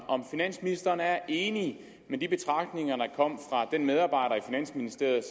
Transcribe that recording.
om finansministeren er enig i de betragtninger der kom fra den medarbejder i finansministeriet